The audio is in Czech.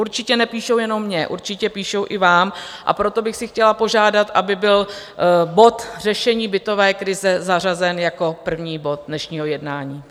Určitě nepíšou jenom mě, určitě píšou i vám, a proto bych si chtěla požádat, aby byl bod Řešení bytové krize zařazen jako první bod dnešního jednání.